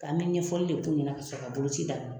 Ka an ka ɲɛfɔli de k'u ɲɛna ka sɔrɔ ka boloci daminɛ.